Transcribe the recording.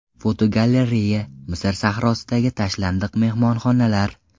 Fotogalereya: Misr sahrosidagi tashlandiq mehmonxonalar.